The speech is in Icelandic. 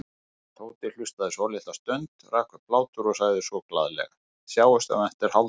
Tóti hlustaði svolitla stund, rak upp hlátur og sagði svo glaðlega: Sjáumst eftir hálftíma